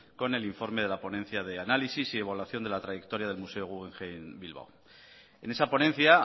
con el informe de la ponencia de análisis y de evaluación de la trayectoria del museo guggenheim bilbao en esa ponencia